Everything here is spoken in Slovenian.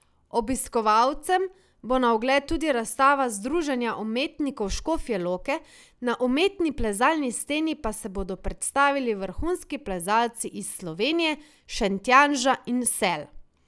Obiskovalcem bo na ogled tudi razstava združenja umetnikov Škofje Loke, na umetni plezalni steni pa se bodo predstavili vrhunski plezalci iz Slovenije, Šentjanža in Sel.